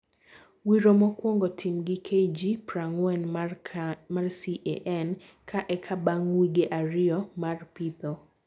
Wiro mokwongo tim gi KG prangwen mar CAN ka eka bang wige ariyo mar pitho.